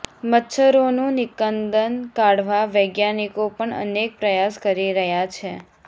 મચ્છરોનું નિકંદન કાઢવા વૈજ્ઞાનિકો પણ અનેક પ્રયાસ કરી રહ્યા છે